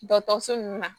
Dɔkɔtɔrɔso nunnu na